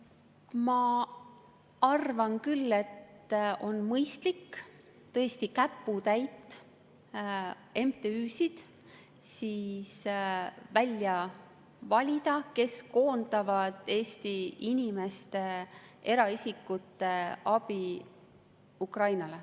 Ma arvan küll, et on mõistlik välja valida tõesti käputäis MTÜ-sid, kes koondavad Eesti inimeste, eraisikute abi Ukrainale.